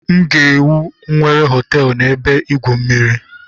M ga-ewu nwere họteelụ na ebe igwu mmiri